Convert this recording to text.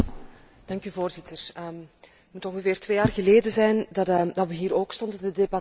Voorzitter, het moet ongeveer twee jaar geleden zijn dat we hier ook stonden te debatteren.